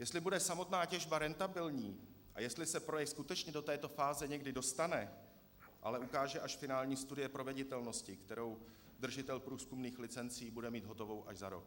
Jestli bude samotná těžba rentabilní a jestli se projekt skutečně do této fáze někdy dostane, ale ukáže až finální studie proveditelnosti, kterou držitel průzkumných licencí bude mít hotovou až za rok.